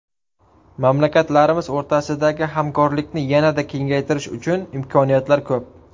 Mamlakatlarimiz o‘rtasidagi hamkorlikni yanada kengaytirish uchun imkoniyatlar ko‘p.